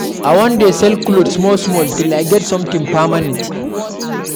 I wan dey sell cloth small small till I get something permanent.